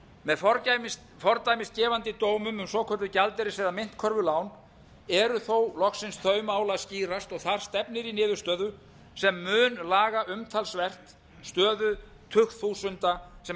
með fordæmisgefandi dómum um svokölluð gjaldeyris eða myntkörfulán eru þó loksins þau mál að skýrast þar stefnir í niðurstöðu sem mun laga umtalsvert stöðu tugþúsunda sem